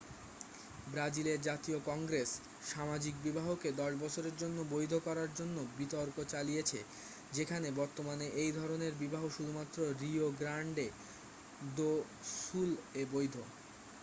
ব্রাজিলের জাতীয় কংগ্রেস সামাজিক বিবাহকে 10 বছরের জন্য বৈধ করার জন্য বিতর্ক চালিয়েছে যেখানে বর্তমানে এই ধরনের বিবাহ শুধুমাত্র রিও গ্র্যান্ডে দো সুল-এ বৈধ